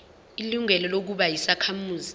ilungelo lokuba yisakhamuzi